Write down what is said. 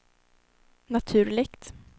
naturligt